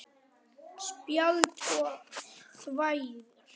Spæld og þvæld.